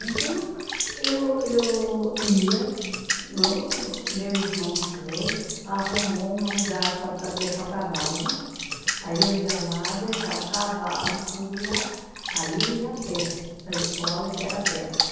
Então, eu eu ia, no no meu irmão foi, arrumou um lugar para da deixar o cavalo, aí eu ia lá, deixava o cavalo, tudo lá, aí eu ia a pé, para a escola que era perto.